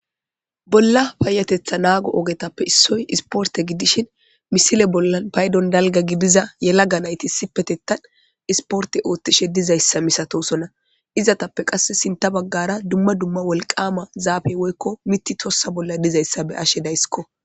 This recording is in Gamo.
bolla paayatetha naago ogetappe issoy isporte gidishin misile bolla paydon dalga gidiza yelaga nayti sipetettan isporte oothtishe dizayssa misatosona izatappe qass sinta baggara dumma dumma wolqama zaabey woykko miti tossa bolla dizayssa be ashe daysikko